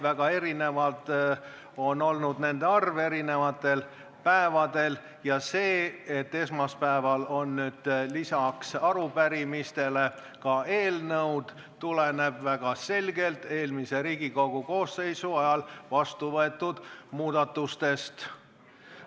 Väga erinev on olnud punktide arv eri päevadel ja see, et nüüd on esmaspäeval lisaks arupärimistele ka eelnõud, tuleneb väga selgelt eelmise Riigikogu koosseisu ajal vastu võetud muudatustest.